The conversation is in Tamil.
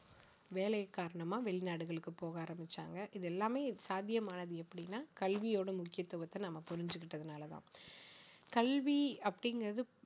வேலை காரணமா வெளிநாடுகளுக்கு போக ஆரம்பிச்சாங்க இது எல்லாமே சாத்தியமானது எப்படின்னா கல்வியோட முக்கியத்துவத்தை நாம புரிஞ்சிக்கிட்டதால தான் கல்வி அப்படிங்கிறது